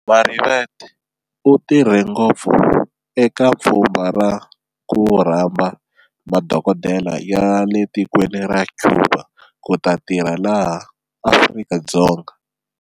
Marivate u tirhe ngopfu eka pfhumba ra ku rhamba madokodela yale tikweni ra Cuba kuta tirha laha Afrika-Dzonga.